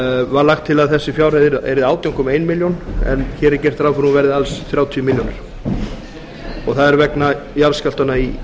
var lagt til að þessar fjárhæðir verði átján komma eina milljón en hér er gert ráð fyrir að þær verði alls þrjátíu milljónir það er vegna jarðskjálftanna í